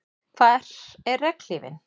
Hvar er regnhlífin?